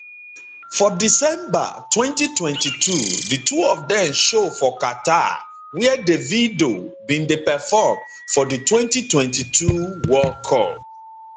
for december 2022 di two of dem show for qatar wia davido bin dey perform for di di 2022 world cup